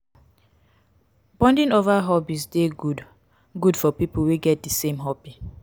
bonding over hobbies de good good for pipo wey get di same hobby